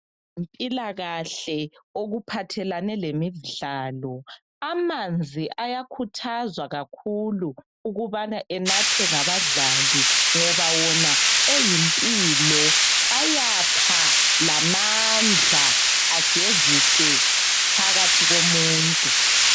Impilakahle okuphathelane lemidlalo amanzi ayakhuthazwa kakhulu ukuthi enathwe ngabadlali ngoba wona eyimpilo ayapha lamandla agezise phakathi komuntu